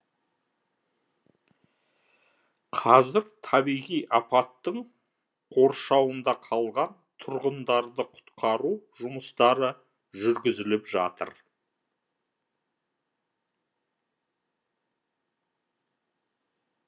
қазір табиғи апаттың қоршауында қалған тұрғындарды құтқару жұмыстары жүргізіліп жатыр